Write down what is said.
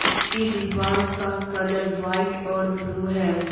इसकी दीवार का कलर वाइट और ब्लू है।